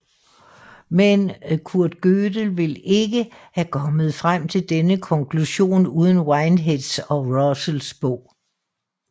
Men Kurt Gödel ville ikke have kommet frem til denne konklusion uden Whiteheads og Russells bog